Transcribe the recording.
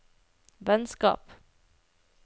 vennskap